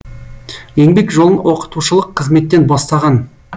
еңбек жолын оқытушылық қызметтен бастаған